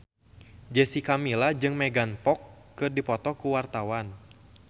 Jessica Milla jeung Megan Fox keur dipoto ku wartawan